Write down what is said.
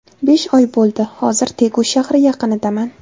Besh oy bo‘ldi, hozir Tegu shahri yaqinidaman.